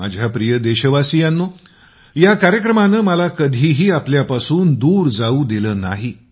माझ्या प्रिय देशवासियांनो या कार्यक्रमानं मला कधीही आपल्यापासून दूर जाऊ दिलं नाही